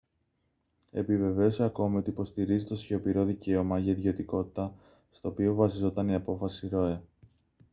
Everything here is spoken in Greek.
επιβεβαίωσε ακόμη ότι υποστηρίζει το σιωπηρό δικαίωμα για ιδιωτικότητα στο οποίο βασιζόταν η απόφαση roe